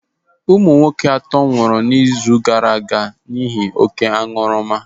Ụmụnwoke atọ nwụrụ izu gaaraaga n'ihi oké aṅụrụma.